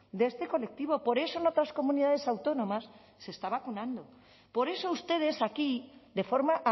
de este colectivo por eso en otras comunidades autónomas se está vacunando por eso ustedes aquí de forma